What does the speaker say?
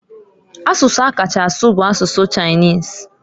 Asụsụ a kacha asụ bu asụsụ Chinese.